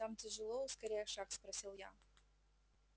там тяжело ускоряя шаг спросил я